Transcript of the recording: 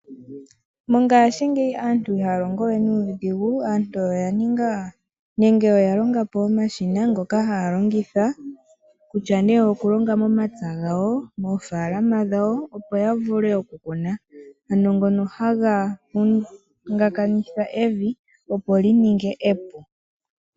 Mongaashingeyi aantu ihaya longowe nuudhigu nenge oya ninga omashina ngoka haya longithwa, kutya nee oya longa momapya gawo, moofaalama dhawo opo ya vule oku Kuna. Ano ngono haga vongakanitha evi opo li ninge epu.